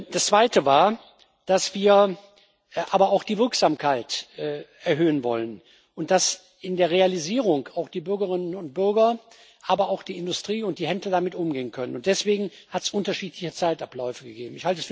Das Zweite war, dass wir aber auch die Wirksamkeit erhöhen wollen und dass in der Realisierung auch die Bürgerinnen und Bürger, aber auch die Industrie und die Händler damit umgehen können, und deswegen hat es unterschiedliche Zeitabläufe gegeben.